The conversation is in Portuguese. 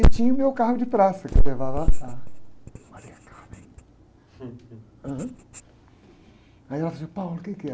E tinha o meu carro de praça, que eu levava a ...riso)ham, aí ela falou assim, o que é?